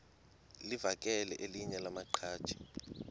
livakele elinye lamaqhaji